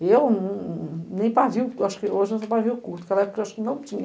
E eu nem pavio, acho que hoje sou pavio oculto, porque na época eu acho que não tinha.